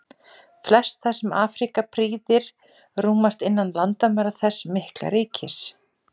Flest það sem Afríku prýðir rúmast innan landamæra þess mikla ríkis.